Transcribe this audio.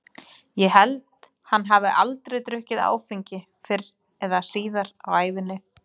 Ég held hann hafi aldrei drukkið áfengi fyrr eða síðar á ævinni.